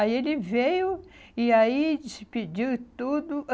Aí ele veio e aí despediu tudo.